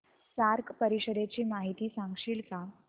SAARC परिषदेची माहिती सांगशील का